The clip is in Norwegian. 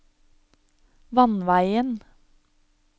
vannveien